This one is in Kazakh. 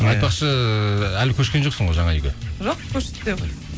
айтпақшы әлі көшкен жоқсың ғой жаңа үйге жоқ көшті